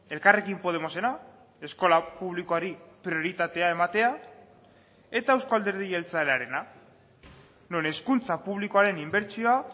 elkarrekin podemosena eskola publikoari prioritatea ematea eta euzko alderdi jeltzalearena non hezkuntza publikoaren inbertsioa